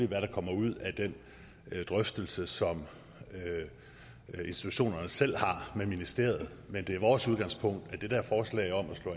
hvad der kommer ud af den drøftelse som institutionerne selv har med ministeriet men det er vores udgangspunkt